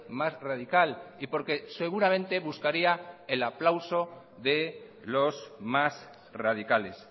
más radical y porque seguramente buscaría el aplauso de los más radicales